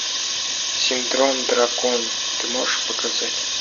синдром дракона ты можешь показать